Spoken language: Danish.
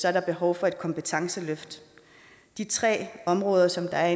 er der behov for et kompetenceløft de tre områder som der er